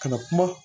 Kana kuma